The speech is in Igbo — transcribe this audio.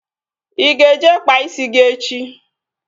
Ị ga-eje kpaa isi gị echi?